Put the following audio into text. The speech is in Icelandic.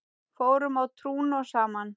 Fórum á trúnó saman.